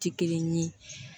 Ti kelen ye